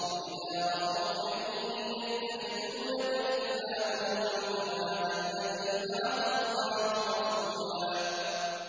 وَإِذَا رَأَوْكَ إِن يَتَّخِذُونَكَ إِلَّا هُزُوًا أَهَٰذَا الَّذِي بَعَثَ اللَّهُ رَسُولًا